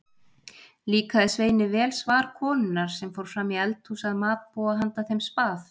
Líkaði Sveini vel svar konunnar sem fór fram í eldhús að matbúa handa þeim spað.